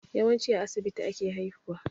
Yawanci a asibiti ake haihuwa